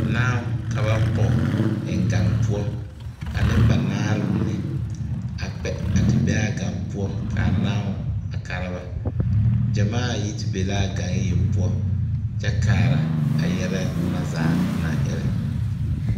Naao ka ba pɔge eŋ gaŋ poɔ ka nenbanaare mine a kpɛ a te be a gaŋ poɔ ka a naso a kara ba gyamaa yi te be la a gaŋ yeŋ poɔ kyɛ kaara a yɛlɛ na zaa naŋ erɛ.